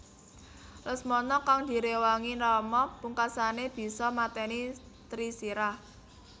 Lesmana kang diréwangi Rama pungkasané bisa matèni Trisirah